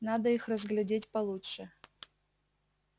надо их разглядеть получше